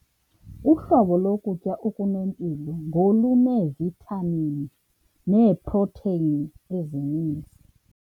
Uhlobo lokutya okunempilo ngoluneevithamini neeprotheyini ezininzi.